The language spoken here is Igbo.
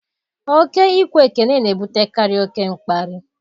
Ọ ke ikwe ekele na ebutekarị oke mkparị